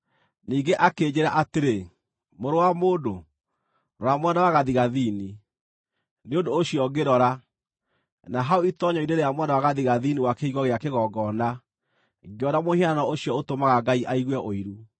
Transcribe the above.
Ningĩ akĩnjĩĩra atĩrĩ, “Mũrũ wa mũndũ, rora mwena wa gathigathini.” Nĩ ũndũ ũcio ngĩrora, na hau itoonyero-inĩ rĩa mwena wa gathigathini wa kĩhingo gĩa kĩgongona, ngĩona mũhianano ũcio ũtũmaga Ngai aigue ũiru.